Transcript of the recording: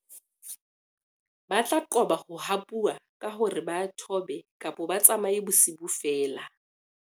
ba tla qoba ho hapuwa ka hore ba thobe-tsamaye bosiu feela